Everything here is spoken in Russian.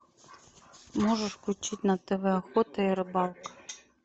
можешь включить на тв охота и рыбалка